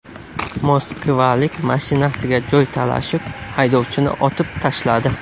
Moskvalik mashinasiga joy talashib, haydovchini otib tashladi.